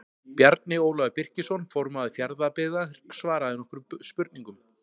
Bjarni Ólafur Birkisson formaður Fjarðabyggðar svaraði nokkrum spurningum.